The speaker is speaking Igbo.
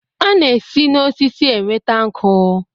A na-esi na osisi enweta nkụ.